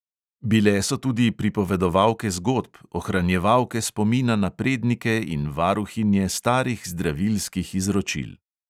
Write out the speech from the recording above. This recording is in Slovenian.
Bile so tudi pripovedovalke zgodb, ohranjevalke spomina na prednike in varuhinje starih zdravilskih izročil.